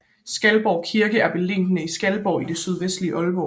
Skalborg Kirke er beliggende i Skalborg i det sydvestlige Aalborg